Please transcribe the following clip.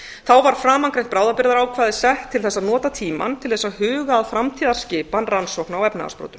þá var framangreint bráðabirgðaákvæði sett til þess að nota tímann til þess að huga að framtíðarskipan rannsókna á efnahagsbrotum